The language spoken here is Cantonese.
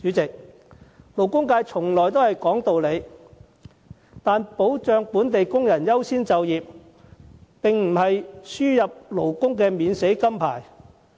勞工界向來都講道理，但保障本地工人優先就業，並不是輸入外勞的免死金牌。